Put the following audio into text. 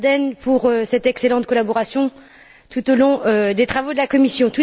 Daerden pour cette excellente collaboration tout au long des travaux de la commission.